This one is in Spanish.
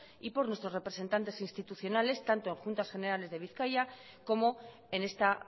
y por nuestros representantes institucionales tanto en juntas generales de bizkaia como en esta